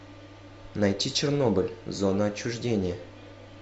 найти чернобыль зона отчуждения